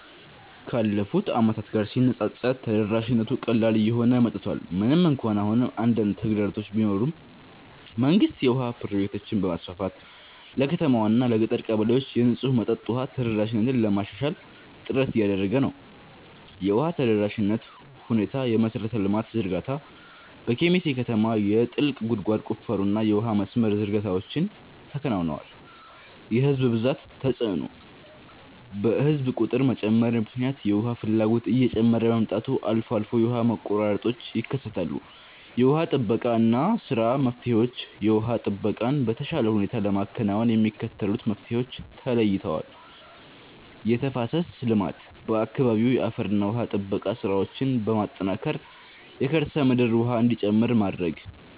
ካለፉት ዓመታት ጋር ሲነፃፀር ተደራሽነቱ ቀላል እየሆነ መጥቷል። ምንም እንኳን አሁንም አንዳንድ ተግዳሮቶች ቢኖሩም፣ መንግስት የውሃ ፕሮጀክቶችን በማስፋፋት ለከተማዋና ለገጠር ቀበሌዎች የንጹህ መጠጥ ውሃ ተደራሽነትን ለማሻሻል ጥረት እያደረገ ነው። የውሃ ተደራሽነት ሁኔታየመሠረተ ልማት ዝርጋታ፦ በኬሚሴ ከተማ የጥልቅ ጉድጓድ ቁፋሮና የውሃ መስመር ዝርጋታዎች ተከናውነዋል። የሕዝብ ብዛት ተጽዕኖ፦ በሕዝብ ቁጥር መጨመር ምክንያት የውሃ ፍላጎት እየጨመረ በመምጣቱ አልፎ አልፎ የውሃ መቆራረጦች ይከሰታሉ። የውሃ ጥበቃ ሥራና መፍትሄዎችየውሃ ጥበቃን በተሻለ ሁኔታ ለማከናወን የሚከተሉት መፍትሄዎች ተለይተዋል፦ የተፋሰስ ልማት፦ በአካባቢው የአፈርና ውሃ ጥበቃ ሥራዎችን በማጠናከር የከርሰ ምድር ውሃ እንዲጨምር ማድረግ።